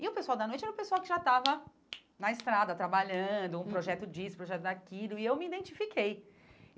E o pessoal da noite era o pessoal que já estava na estrada, trabalhando, uhum um projeto disso, um projeto daquilo, e eu me identifiquei.